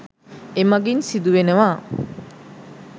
එමගින් සිදු වෙනවා.